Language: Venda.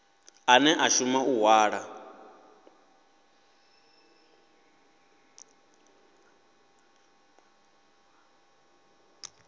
ane a shuma u hwala